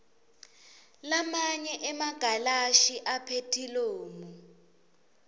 lamanye emagalashi aphethilomu